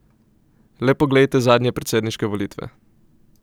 Le poglejte zadnje predsedniške volitve.